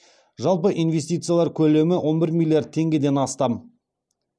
жалпы инвестициялар көлемі он бір миллиард теңгеден астам